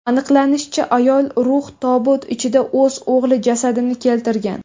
Aniqlanishicha, ayol rux tobut ichida o‘z o‘g‘li jasadini keltirgan.